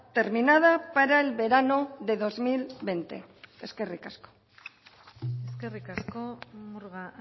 terminada para el verano de dos mil veinte eskerrik asko eskerrik asko murga